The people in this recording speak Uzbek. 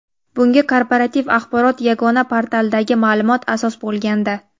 Bunga Korporativ axborot yagona portalidagi ma’lumot asos bo‘lgandi.